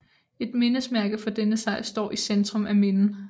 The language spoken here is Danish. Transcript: Et mindesmærke for denne sejr står i centrum af Minden